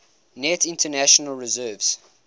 net international reserves